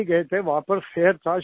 वहां पर फेयर था शोएस का